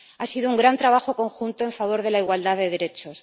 Ha sido un gran trabajo conjunto en favor de la igualdad de derechos.